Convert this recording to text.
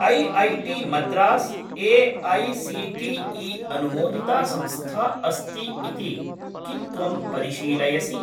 IIT Madras AICTE. अनुमोदिता संस्था अस्ति इति किं त्वं परिशीलयसि?